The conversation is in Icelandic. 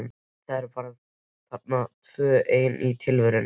Þau eru þarna bara tvö ein í tilverunni.